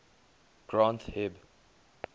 granth hib